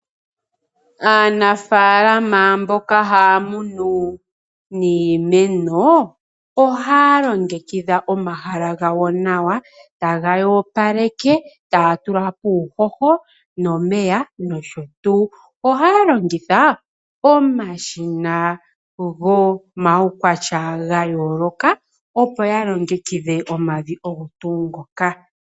Aanafalama mboka haamunu niimeno ohaa longekidha omahala gawo nawa taga yoopaleke taa tulapo uuhoho nomeya noshowo tuu. Ohaya longitha omashina gomawukwatya gayooloka opo yalongekidhe omavi ogo tuu ngoka.